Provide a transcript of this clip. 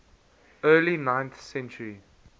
early ninth century